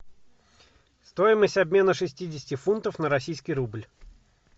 стоимость обмена шестидесяти фунтов на российский рубль